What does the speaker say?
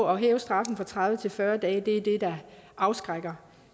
at hæve straffen fra tredive til fyrre dage er det der afskrækker